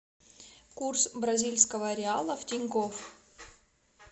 курс бразильского реала в тинькофф